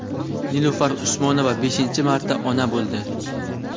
Nilufar Usmonova beshinchi marta ona bo‘ldi.